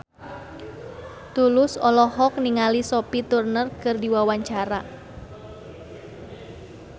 Tulus olohok ningali Sophie Turner keur diwawancara